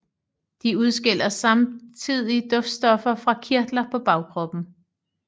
De udskiller samtidig duftstoffer fra kirtler på bagkroppen